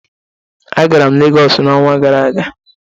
Agara m Legọsị n'ọnwa gara aga.